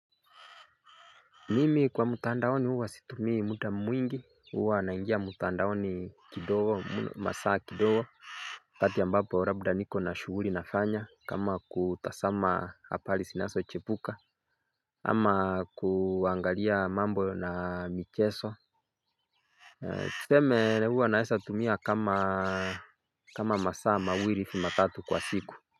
Mimi kwa mtandaoni huwa situmii muda mwingi huwa naingia mtandaoni kidogo masaa kidogo wakati ambapo labda niko na shughuli nafanya kama kutazama habari zinazochipuka ama kuangalia mambo na michezo Tuseme huwa naweza tumia kama kama masaa mawili hivi matatu kwa siku.